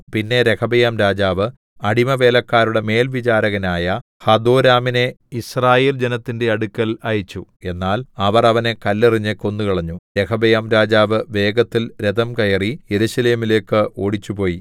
പിന്നെ രെഹബെയാംരാജാവ് അടിമവേലക്കാരുടെ മേൽവിചാരകനായ ഹദോരാമിനെ യിസ്രായേൽ ജനത്തിന്റെ അടുക്കൽ അയച്ചു എന്നാൽ അവർ അവനെ കല്ലെറിഞ്ഞ് കൊന്നുകളഞ്ഞു രെഹബെയാംരാജാവ് വേഗത്തിൽ രഥം കയറി യെരൂശലേമിലേക്ക് ഓടിച്ചുപോയി